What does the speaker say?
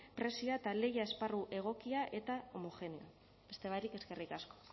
prezioa eta lehia esparru egokia eta homogeneoa beste barik eskerrik asko